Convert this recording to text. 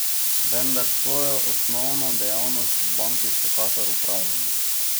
Vendar svojo osnovno dejavnost v banki vsekakor opravljamo.